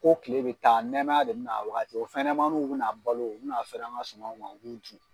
Ko kile bi taa nɛmaya de bina a wagati o fɛnɲɛnɛmannu bina balo u bina fɛrɛ an ka sumanw ma, u b'u dun.